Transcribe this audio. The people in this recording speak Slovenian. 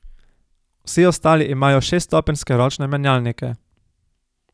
Vsi ostali imajo šeststopenjske ročne menjalnike.